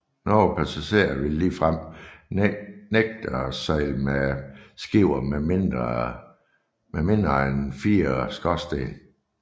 Nogle passagerer ville ligefrem nægte at sejle med skibe med mindre end fire skorstene